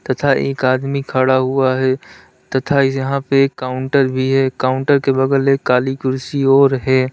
तथा एक आदमी खड़ा हुआ है तथा यहां पे एक काउंटर भी है। काउंटर के बगल एक काली कुर्सी और है।